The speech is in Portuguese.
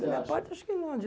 De minha parte, acho que não.